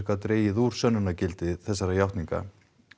gat dregið úr sönnunargildi játninga